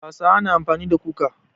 Hausawa na amfani da kuka.